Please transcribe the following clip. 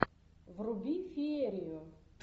вруби феерию